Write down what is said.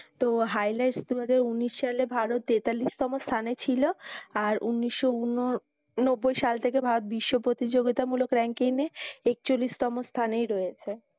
তো highlights তোমাদের ঊনিশ সালে ভারত তেতাল্লিশ তম স্থানে ছিল আর ঊনিশ ঊননব্বই সাল থেকে ভারত বিশ্ব প্রতিযোগিতা মূলক ranking য়ে একচল্লিশ তম স্থানেই রয়েছে।